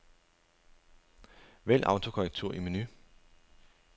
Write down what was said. Vælg autokorrektur i menu.